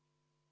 Palun!